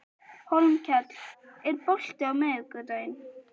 Hólmkell, er bolti á miðvikudaginn?